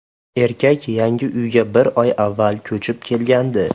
Erkak yangi uyga bir oy avval ko‘chib kelgandi.